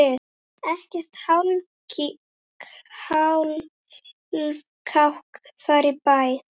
Ekkert hálfkák þar á bæ.